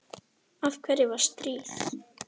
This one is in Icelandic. Af hverju var stríð?